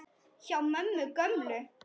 Hjá mömmu gömlu?!